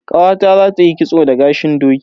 Ƙawata zata yi kitso da gashin doki.